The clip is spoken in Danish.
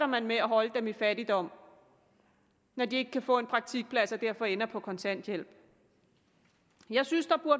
man med at holde dem i fattigdom når de ikke kan få en praktikplads og derfor ender på kontanthjælp jeg synes at